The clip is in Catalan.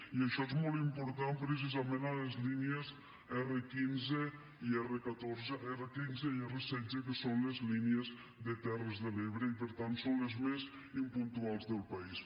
i això és molt important precisament a les línies r15 i r16 que són les línies de les terres de l’ebre i per tant són les més impuntuals del país